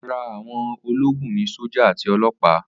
Ara àwọn ológun ni sójà àti ọlọ́pa